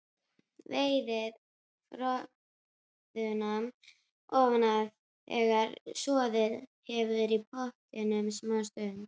Veiðið froðuna ofan af þegar soðið hefur í pottinum smástund.